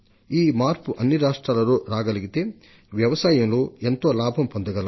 ఈ మార్పు అన్ని రాష్ట్రాలలో తీసుకురాగలిగితే వ్యవసాయంలో ఎంతో లాభం పొందగలం